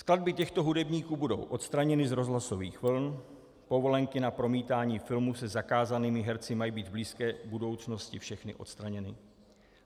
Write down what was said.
Skladby těchto hudebníků budou odstraněny z rozhlasových vln, povolenky na promítání filmů se zakázanými herci mají být v blízké budoucnosti všechny odstraněny.